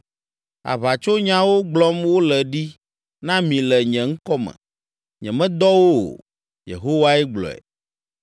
Aʋatsonyawo gblɔm wole ɖi na mi le nye ŋkɔ me. Nyemedɔ wo o.” Yehowae gblɔe.